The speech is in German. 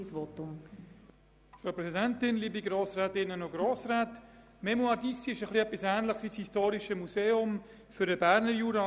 Die «Fondation Mémoires d’Ici» ist etwas Ähnliches wie ein historisches Museum für den Berner Jura.